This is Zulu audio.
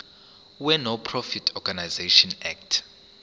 wenonprofit organisations act